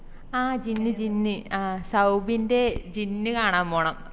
ആഹ് ജിന്ന് ജിന്ന് ആ സൗബിന്റെ ജിന്ന് കാണാൻ പോണം